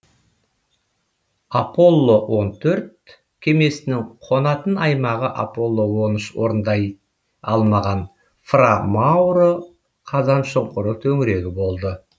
аполло он төрт кемесінің қонатын аймағы аполло он үш орындай алмаған фра мауро қазаншұңқыры төңірегі болды